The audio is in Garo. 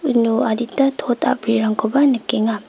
uno adita tot a·brirangkoba nikenga.